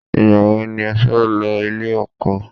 Ìgbà wo ni o fẹ́ lọ ilé ọkọ?